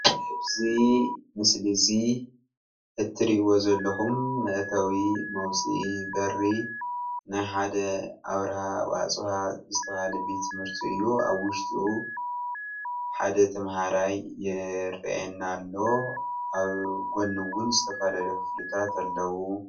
እዚ ምስሊ እዚ እትእዎ ዘለኩም መእታዊ መውፅኢ በሪ ናይ ሓደ ኣብርሃ ዋኣፅባሃ ዝተባሃለ ቤት ትምህርቲ እዩ፡፡ ኣብ ውሽጡ ሓደ ተማሃራይ ይረአየና ኣሎ፡፡ ኣብ ጎኑ እውን ዝተፈላለዩ ክፍልታት ኣለዉ፡፡